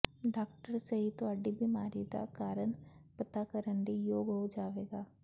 doctor ਸਹੀ ਤੁਹਾਡੀ ਬੀਮਾਰੀ ਦਾ ਕਾਰਨ ਪਤਾ ਕਰਨ ਲਈ ਯੋਗ ਹੋ ਜਾਵੇਗਾ